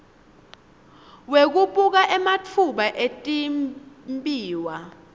wekubuka ematfuba etimbiwa